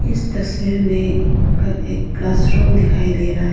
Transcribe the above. इस तस्वीर में एक क्लास रूम दिखाई दे रहा है।